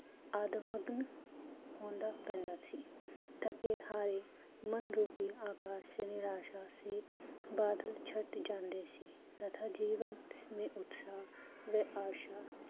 ਅਦਮਘਨ ਹੋਣਦਾ ਪੈਂਦਾ ਸੀ, ਥਕੇ ਹਾਰੇ ਮਨਰੂਪੀ ਆਗਸ਼ਨਿਰਾਸ਼ਾ ਸੀ, ਬਾਦਲ ਛਟ ਜਾਂਦੇ ਸੀ, ਤਥਾਂ ਜੀਵਨ ਮੇ ਉਤਸ਼ਾਹ ਵੇਹ ਆਸ਼ਾ